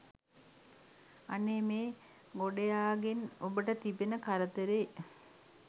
අනේ මේ ගොඩයාගෙන් ඔබට තිබෙන කරදරේ!